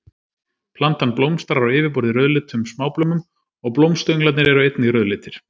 Plantan blómstrar á yfirborði rauðleitum smáblómum og blómstönglarnir eru einnig rauðleitir.